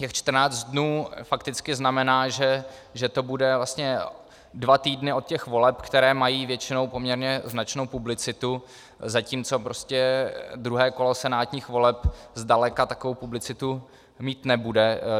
Těch 14 dní fakticky znamená, že to bude vlastně dva týdny od těch voleb, které mají většinou poměrně značnou publicitu, zatímco prostě druhé kolo senátních voleb zdaleka takovou publicitu mít nebude.